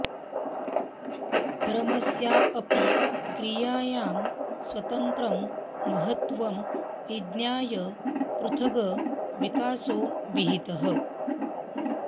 परमस्या अपि क्रियायाः स्वतन्त्रं महत्त्वं विज्ञाय पृथग् विकासो विहितः